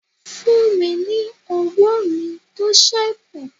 Fùn mi ní ọwọ mí to sẹkú!